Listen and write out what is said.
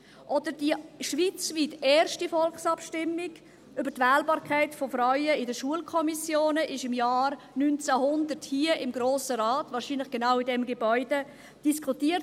– Oder die schweizweit erste Volksabstimmung über die Wählbarkeit von Frauen in Schulkommissionen: Diese wurde im Jahr 1900 hier, im Grossen Rat, wahrscheinlich in genau diesem Gebäude, diskutiert.